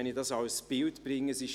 Wenn ich dieses Bild bringen darf: